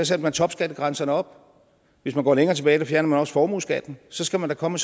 satte man topskattegrænsen op hvis man går længere tilbage fjernede man også formueskatten så skal man da komme